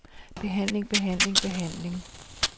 behandling behandling behandling